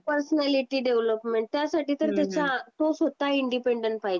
personality development त्यासाठी तर ते तू स्वतः इंडिपेंडंट पाहिजे